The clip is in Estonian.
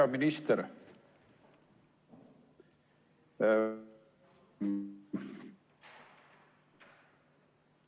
Hea minister!